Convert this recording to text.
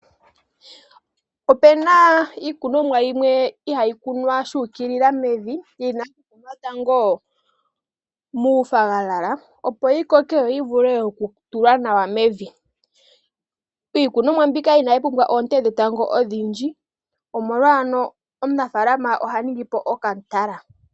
Opu na iikunomwa yimwe ihayi kunwa shuukilila mevi yeyi kuna tango muufwagafwaga opo yi koke yo yi vule okutulwa nawa. Iikunomwa mbika ina yi pumbwa oonte dhetango odhindji omolwa ano omunafalama oha ningipo okatala.